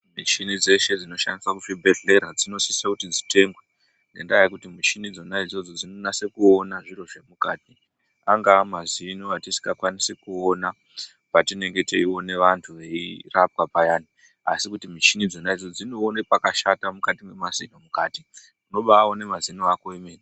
Michini dzese dzinoshandiswa muzvibhedhlera dzinosiso kuti dzitengwe ngendaa yekuti muchini dzona idzodzo dzinonasa kuona zviro zvemukati angaa mazino atisingakwanisi kuona patinenge teione vantu veirapwa payana asi mishinidzo dzona dzinoona pakashata mukatii mwemazino mukati. Unobaone mazino ako emene.